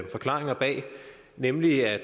forklaringer bag nemlig at